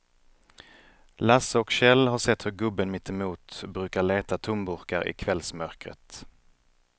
Lasse och Kjell har sett hur gubben mittemot brukar leta tomburkar i kvällsmörkret.